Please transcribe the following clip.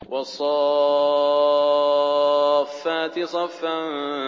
وَالصَّافَّاتِ صَفًّا